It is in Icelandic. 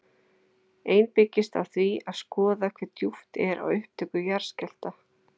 Ein byggist á því að skoða hve djúpt er á upptök jarðskjálfta.